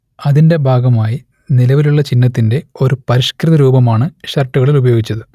അതിന്റെ ഭാഗമായി നിലവിലുള്ള ചിഹ്നത്തിന്റെ ഒരു പരിഷ്കൃതരൂപമാണ് ഷർട്ടുകളിൽ ഉപയോഗിച്ചത്